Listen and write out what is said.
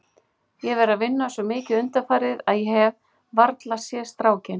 Ég hef verið að vinna svo mikið undanfarið að ég hef varla séð strákinn.